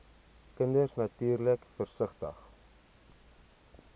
kinders natuurlik versigtig